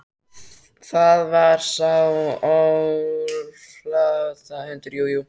Það var sá áflogahundur, jú, jú.